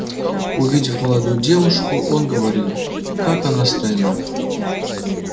увидев молодую девушку он говорил как она стройна